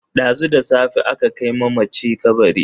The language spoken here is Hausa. Dazu da safe aka kai mamaci kabari.